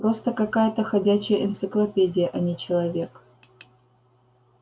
просто какая-то ходячая энциклопедия а не человек